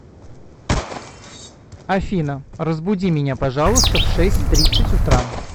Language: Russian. афина разбуди меня пожалуйста в шесть тридцать утра